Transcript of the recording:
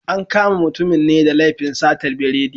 An kama mutumin ne da laifin satar biredi.